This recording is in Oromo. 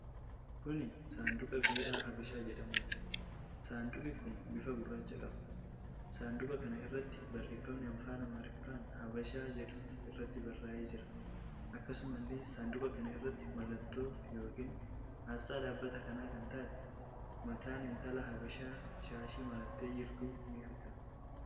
Kuni saanduqa biiraa Habashaa jedhamuuti. Saanduqi kun bifa gurraacha qaba. Saanduqa kana irratti barreefami Afaan Amaariffaan "Habashaa" jedhu irratti barraa'ee jira. Akkasumallee saanduqa kana irratti mallattoo yookiin asxaa dhaabbata kanaa kan taatee mataan intala habashaa shaashii marattee jirtu ni argama.